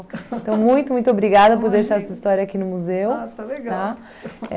Então, muito, muito obrigada por deixar essa história aqui no museu. Ah, tá legal. Tá?